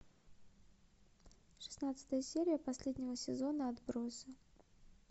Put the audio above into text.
шестнадцатая серия последнего сезона отбросы